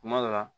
Kuma dɔ la